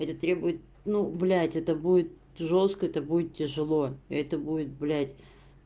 эти требует ну блять это будет жёстко это будет тяжело и это будет блядь